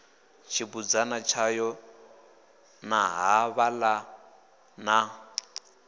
tshibudzana tshayo na ṱhavhana na